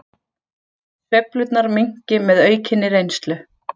Sveiflurnar minnki með aukinni reynslu